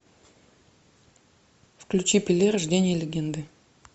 включи пеле рождение легенды